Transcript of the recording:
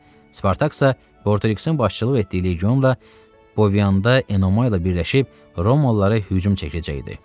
Spartaksa Bortoreksin başçılıq etdiyi legionla Boviyanda Enomay ilə birləşib Romalılara hücum çəkəcəkdi.